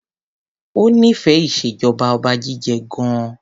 O nífẹẹ ìṣèjọba Ọba jíjẹ gan.